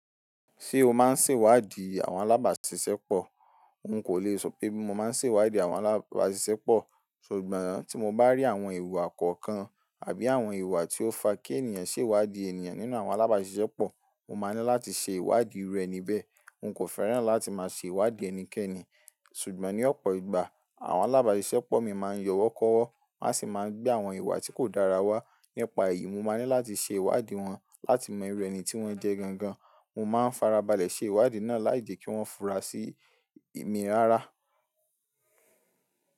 Ṣé o máa ń ṣèwádìí àwọn alábàṣiṣẹ́pọ̀? N kò lè sọ pé mi mo máa ń ṣèwádìí àwọn alábàṣiṣẹ́pọ̀, ṣùgbọ́n tí mo bá rí àwọn iwa kọọ̀kan àbí àwọn iwa tí ó fa kí ènìyàn ṣèwádìí ènìyàn nínú àwọn alábàṣiṣẹ́pọ̀, mo máa ní láti ṣe ìwádìí iru eníbẹ̀. Hun kò fẹ́ràn láti máa ṣe ìwádìí ẹnikẹ́ni, ṣùgbọ́n ní ọ̀pọ̀ ìgbà àwọn alábàṣiṣẹ́pọ̀ mi máa ń yọ̀wọ́ kọ̀wọ́, won á sì máa gbé àwọn ìwà tí kò dára wá. Nípa èyí, mo máa ní láti ṣe ìwádìí wọn láti mọ ìru ení tí wọ́n jẹ́ gangan. Mo máa ń farabalẹ̀ ṣe ìwádìí náà láì je kí wọ́n fura sí mi rárá.